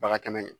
Baga kɛnɛ